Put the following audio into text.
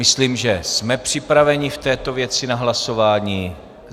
Myslím, že jsme připraveni v této věci na hlasování.